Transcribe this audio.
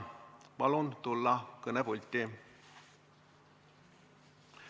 Palun tulla kõnepulti.